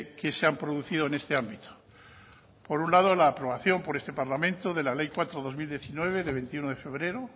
que se han producido en este ámbito por un lado la aprobación por este parlamento de la ley cuatro barra dos mil diecinueve de veintiuno de febrero